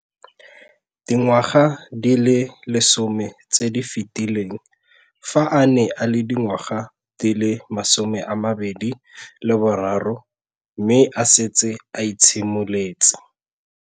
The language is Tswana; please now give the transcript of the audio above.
Dingwaga di le 10 tse di fetileng, fa a ne a le dingwaga di le 23 mme a setse a itshimoletse.